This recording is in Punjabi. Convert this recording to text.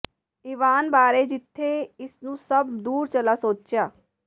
ਇਵਾਨ ਬਾਰੇ ਜਿੱਥੇ ਇਸ ਨੂੰ ਸਭ ਦੂਰ ਚਲਾ ਸੋਚਿਆ